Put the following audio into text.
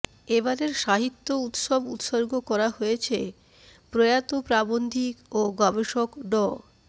এবারের সাহিত্য উৎসব উৎসর্গ করা হয়েছে প্রয়াত প্রাবন্ধিক ও গবেষক ড